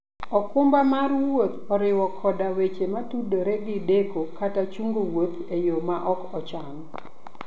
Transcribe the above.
okumba mar wuoth oriwo koda weche motudore gi deko kata chungo wuoth e yo ma ok ochan.